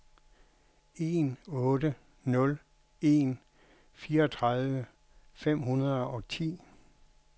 en otte nul en fireogtredive fem hundrede og ti